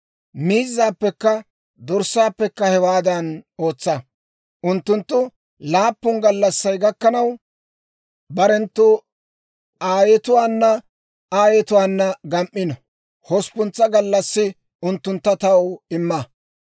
Miizzaappekka dorssaappekka hewaadan ootsa. Unttunttu laappun gallassay gakkanaw, barenttu aayetuwaana aayetuwaana gam"ino; hosppuntsa gallassi unttuntta taw imma.